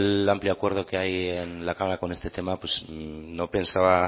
el amplio acuerdo que hay en la cámara con este tema no pensaba